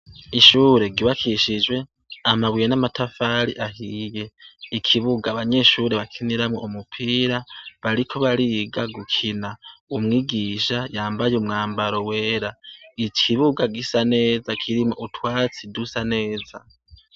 Ishure ryubakishijwe amabuye n'amatafari ahiye. Ikibuga abanyeshure bakiniramwo umupira bariko bariga gukina. Umwigisha yambaye umwambaro wera. Ikibuga gisa neza kirimwo utwatsi dusa neza.